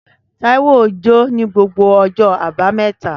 Taiwo jó ní gbogbo ọjọ́ Àbámẹ́ta